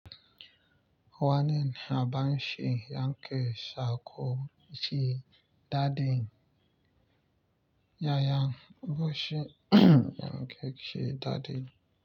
Wani naba shi yankee sako shi daɗi. Yayan boshi yankee shi daɗi.